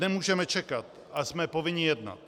Nemůžeme čekat a jsme povinni jednat.